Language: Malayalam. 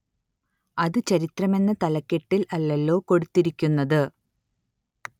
അത് ചരിത്രം എന്ന തലക്കെട്ടില്‍ അല്ലല്ലോ കൊടുത്തിരിക്കുന്നത്